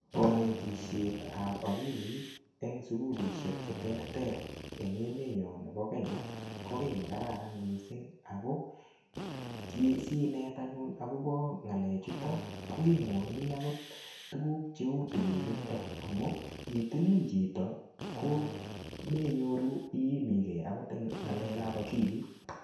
Kanatisietab akilit eng sukulishek che terter eng emenyo nebo Kenya, ko ki ne kararan missisng. Ako ki sinet anyun akobo ngalechuto, koimwachini agot tuguk cheu tililndo. Amu itilil chito, komenyoru iimigei agot eng ng'alekap akilit.